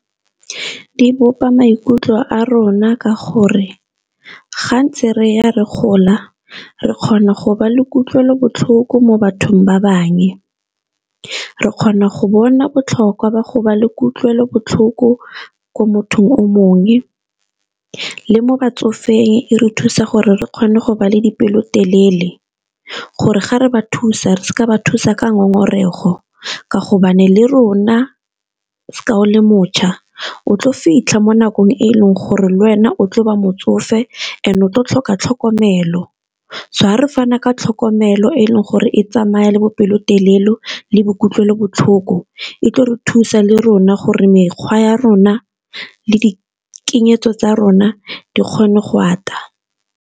Di bopa maikutlo a rona ka gore gantse re ya re gola re kgona le kutlwelobotlhoko mo bathong ba bangwe, re kgona go bona botlhokwa ba go le kutlwelobotlhoko ko mothong o mongwe le mo batsofeng e re thusa gore re kgone go le dipelo telele gore ga re ba thusa re se ka ba thusa ka ngongorego, ka hobane le rona ka o le mošwa o tlo fitlha mo nakong e e leng gore le wena o tlo ba motsofe and-e o tlo tlhoka tlhokomelo. So ga re fana ka tlhokomelo e e leng gore e tsamaya le bopelotelele le bo kutlwelobotlhoko, e tlo re thusa le rona gore mekgwa ya rona le tsa rona di kgone go ata.